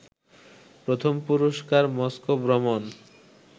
প্রথম পুরস্কার মস্কো ভ্রমণ